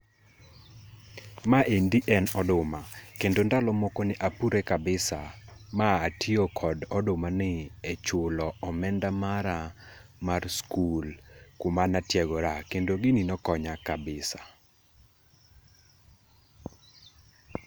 Ma endi en oduma, kendo ndalo moko ne apure kabisa, ma atio kod odumani e chulo omenda mara mar skul kuma natiegoraa, kendo gini nokonya kabisa.